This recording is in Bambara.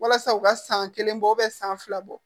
Walasa u ka san kelen bɔ san fila bɔ